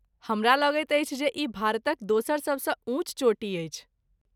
हमरा लगैत अछि जे ई भारतक दोसर सबसँ ऊँच चोटी अछि?